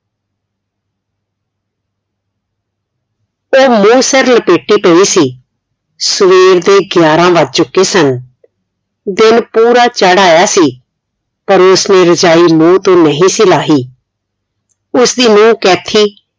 ਇਹ ਹਲੇ ਸਾਰੇ ਪੇਕੇ ਤੇ ਸੀ ਸਵੇਰ ਦੇ ਗਿਆਰਾਂ ਵੱਜ ਚੁਕੇ ਸਨ ਦਿਨ ਪੂਰਾ ਚੜ੍ਹ ਆਇਆ ਸੀ ਪਰ ਉਸ ਨੇ ਰਜਾਈ ਮੂੰਹ ਤੋਂ ਨਹੀਂ ਸੀ ਲਾਹੀ ਉਸ ਦੀ ਨੂੰਹ ਕੈਥੀ